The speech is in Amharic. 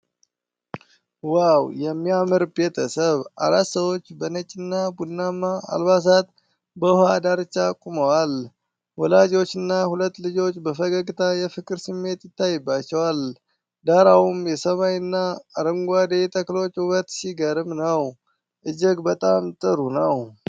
ዋው! የሚያምር ቤተሰብ! አራት ሰዎች በነጭ እና ቡናማ አልባሳት በውሃ ዳርቻ ቆመዋል። ወላጆችና ሁለት ልጆች በፈገግታ የፍቅር ስሜት ይታይባቸዋል፤ ዳራውም የሰማይና አረንጓዴ ተክሎች ውበት ሲገርም ነው። እጅግ በጣም ጥሩ!